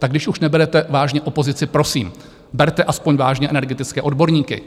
Tak když už neberete vážně opozici, prosím, berte aspoň vážně energetické odborníky.